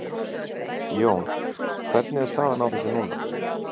Jón, hvernig er staðan á þessu núna?